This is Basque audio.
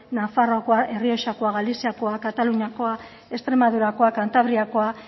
nafarroakoa errioxakoa galiziakoa kataluniakoa extremadurakoa kantabriakoa